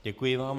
Děkuji vám.